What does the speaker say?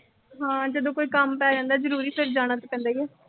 ਹਾਂ, ਜਦੋਂ ਕੋਈ ਕੰਮ ਪੈ ਜਾਂਦਾ ਜ਼ਰੂਰੀ। ਫਿਰ ਜਾਣਾ ਤੇ ਪੈਂਦਾ ਈ ਆ।